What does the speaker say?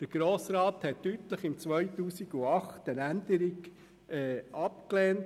Der Grosse Rat hat im Jahr 2008 deutlich eine Änderung abgelehnt.